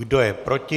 Kdo je proti?